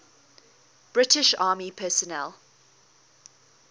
british army personnel